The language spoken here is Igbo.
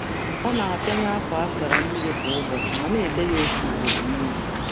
Ọ na-akpọnye akwa kwa ụbọchị, ma um na-eyi uwe n’ịnyịnya uwe n’ịnyịnya um ísì ugboro um otu n’izu.